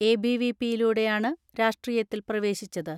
എബിവിപിയിലൂടെയാണ് രാഷ്ട്രീയത്തിൽ പ്രവേശിച്ചത്.